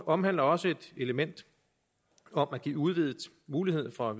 omhandler også et element om at give udvidet mulighed for at